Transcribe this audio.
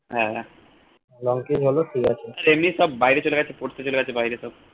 হ্যা আর এমনি সব বাইরে চলে গেছে পড়তে চলে গেছে বাহিরে সব